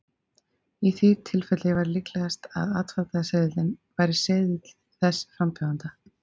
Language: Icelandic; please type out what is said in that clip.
í því tilfelli væri líklegast að atkvæðaseðilinn væri seðill þess frambjóðanda